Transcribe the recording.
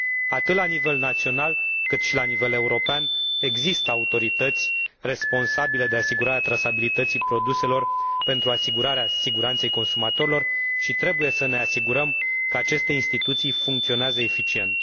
Atât la nivel național, cât și la nivel european, există autorități responsabile de asigurarea trasabilității produselor pentru asigurarea siguranței consumatorilor și trebuie să ne asigurăm că aceste instituții funcționează eficient.